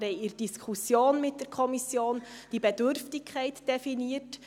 Wir haben in der Diskussion mit der Kommission diese Bedürftigkeit definiert.